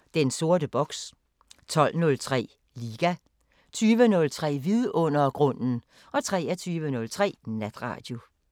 10:03: Den sorte boks 12:03: Liga 20:03: Vidundergrunden 23:03: Natradio